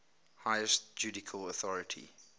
highest judicial authority